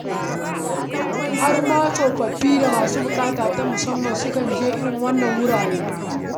Har ma tsofaffi da masu buƙata ta musamman sukan je irin waɗannan wurare.